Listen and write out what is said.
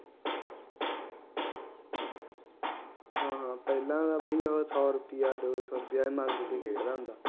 ਹਾਂ ਹਾਂ ਬਾਈ ਪਹਿਲਾ ਉਹ ਸੋ ਰੁਪਇਆ ਦੋ ਸੌ ਰੁਪਇਆ ਮੰਗ ਕੇ ਖੇਡਦਾ ਹੁੰਦਾ